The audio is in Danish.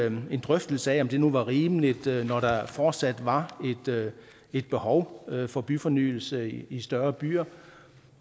en drøftelse af om det nu var rimeligt når der fortsat var et behov for byfornyelse i større byer